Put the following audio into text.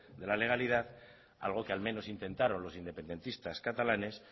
de la legalidad algo que al menos intentaron los independentistas catalanes